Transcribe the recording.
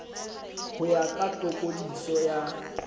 ho ya ka tokodiso ya